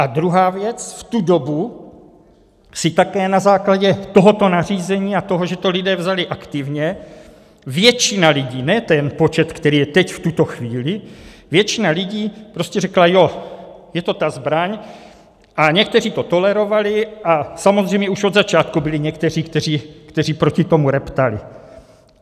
A druhá věc, v tu dobu si také na základě tohoto nařízení a toho, že to lidé vzali aktivně, většina lidí, ne ten počet, který je teď v tuto chvíli, většina lidí prostě řekla, jo, je to ta zbraň, a někteří to tolerovali a samozřejmě už od začátku byli někteří, kteří proti tomu reptali.